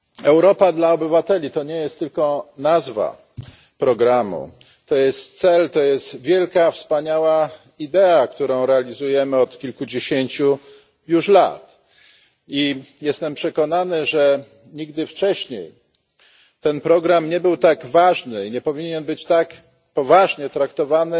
Europa dla obywateli to nie jest tylko nazwa programu, to jest cel, to jest wielka wspaniała idea, którą realizujemy od kilkudziesięciu już lat i jestem przekonany, że nigdy wcześniej ten program nie był tak ważny i nie powinien być tak poważnie traktowany